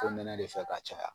Ko mɛnɛ de fɛ ka caya